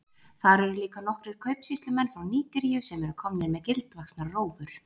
Þar eru líka nokkrir kaupsýslumenn frá Nígeríu sem eru komnir með gildvaxnar rófur.